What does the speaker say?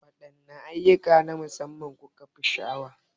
Waɗanne ayyukan na musamman kukefi sha'awar?